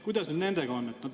Kuidas nüüd nendega on?